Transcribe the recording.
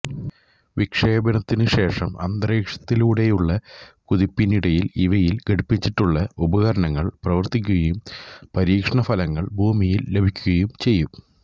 വിക്ഷേപണത്തിനുശേഷം അന്തരീക്ഷത്തിലൂടെയുള്ള കുതിപ്പിനിടയിൽ ഇവയിൽ ഘടിപ്പിച്ചിട്ടുള്ള ഉപകരണങ്ങൾ പ്രവർത്തിക്കുകയും പരീക്ഷണഫലങ്ങൾ ഭൂമിയിൽ ലഭിക്കുകയും ചെയ്യും